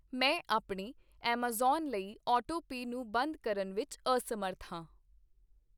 ਮੈਂ ਆਪਣੇ ਐੱਮਾਜ਼ਾਨ ਲਈ ਆਟੋਪੇ ਨੂੰ ਬੰਦ ਕਰਨ ਵਿੱਚ ਅਸਮਰੱਥ ਹਾਂ।